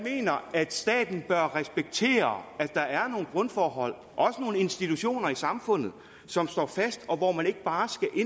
at staten bør respektere at der er nogle grundforhold og også nogle institutioner i samfundet som står fast og hvor man ikke bare skal